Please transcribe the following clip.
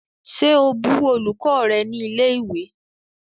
Ṣe o bù olùkọ́ rẹ ni ilẹ̀ ìwé?